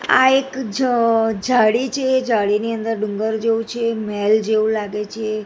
આ એક જ જાડી છે જાડીની અંદર ડુંગર જેવું છે મહેલ જેવું લાગે છે.